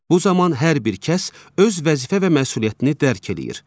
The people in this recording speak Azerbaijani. Bu zaman hər bir kəs öz vəzifə və məsuliyyətini dərk eləyir.